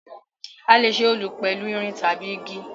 A lè ṣe Olù pẹ̀lu irin tabi igi